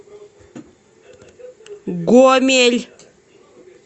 гомель